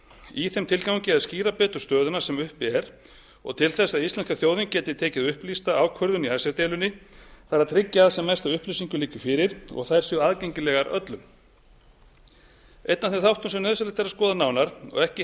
í þeim tilgangi að skýra betur stöðuna sem uppi er og til þess að íslenska þjóðin geti tekið upplýsta ákvörðun í icesave deilunni þarf að tryggja að sem mest af upplýsingum liggi fyrir og þær séu aðgengilegar öllum einn af þeim þáttum sem nauðsynlegt er að skoða nánar og ekki